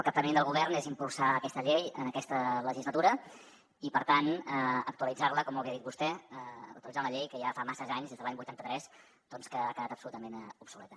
el capteniment del govern és impulsar aquesta llei en aquesta legislatura i per tant actualitzar la com molt bé ha dit vostè actualitzar una llei que ja fa massa anys des de l’any vuitanta tres doncs que ha quedat absolutament obsoleta